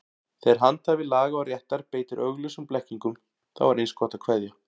Þegar handhafi laga og réttar beitir augljósum blekkingum, þá er eins gott að kveðja.